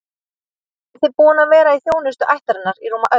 Hann er því búinn að vera í þjónustu ættarinnar í rúma öld.